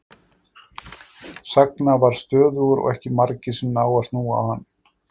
Sagna var stöðugur og ekki margir sem ná að snúa á hann.